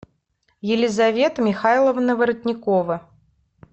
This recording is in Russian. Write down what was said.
елизавета михайловна воротникова